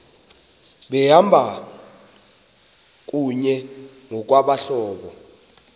behamba kunye ngokwabahlobo